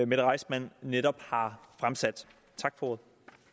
mette reissmann netop har fremsat tak for